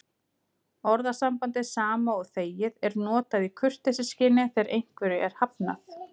Orðasambandið sama og þegið er notað í kurteisisskyni þegar einhverju er hafnað.